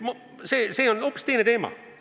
See on hoopis teine teema.